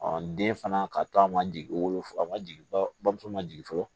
den fana ka to a ma jigin wolofi a ma jigin bamuso ma jigin fɔlɔ